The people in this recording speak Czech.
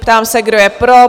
Ptám se, kdo je pro?